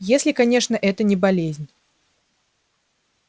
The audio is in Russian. если конечно это не болезнь